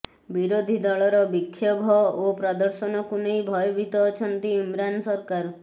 ବିରୋଧୀ ଦଳର ବିକ୍ଷୋଭ ଓ ପ୍ରଦର୍ଶନକୁ ନେଇ ଭୟଭୀତ ଅଛନ୍ତି ଇମ୍ରାନ ସରକାର